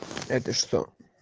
это что